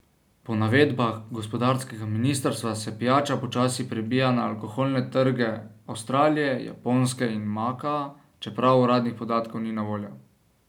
Po navedbah gospodarskega ministrstva se pijača počasi prebija na alkoholne trge Avstralije, Japonske in Makaa, čeprav uradnih podatkov ni na voljo.